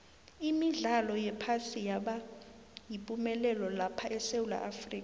imidlalo yephasi yaba yipumelelo lapha esewula afrika